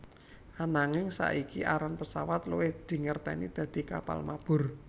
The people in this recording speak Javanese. Ananging saiki aran pesawat luwih dingerteni dadi kapal mabur